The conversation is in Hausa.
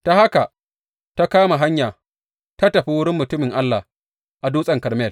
Ta haka ta kama hanya ta tafi wurin mutumin Allah a Dutsen Karmel.